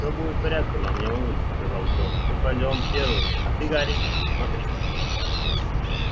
всё будет в порядке мама не волнуйся сказал джордж мы пойдём первыми а ты гарри смотри